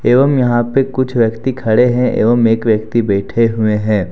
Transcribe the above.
एवं यहां पे कुछ व्यक्ति खड़े हैं एवं एक व्यक्ति बैठे हुए हैं।